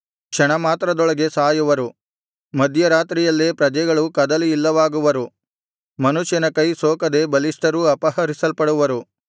ಕ್ಷಣ ಮಾತ್ರದೊಳಗೆ ಸಾಯುವರು ಮಧ್ಯರಾತ್ರಿಯಲ್ಲೇ ಪ್ರಜೆಗಳು ಕದಲಿ ಇಲ್ಲವಾಗುವರು ಮನುಷ್ಯನ ಕೈ ಸೋಕದೆ ಬಲಿಷ್ಠರೂ ಅಪಹರಿಸಲ್ಪಡುವರು